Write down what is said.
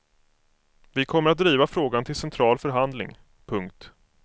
Vi kommer att driva frågan till central förhandling. punkt